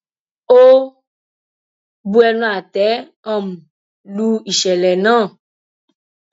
ó bu ẹnu àtẹ um lu ìṣẹlẹ náà